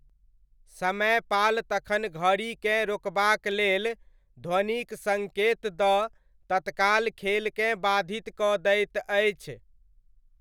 समयपाल तखन घड़ीकेँ रोकबाक लेल ध्वनिक सङ्केत दऽ तत्काल खेलकेँ बाधित कऽ दैत अछि।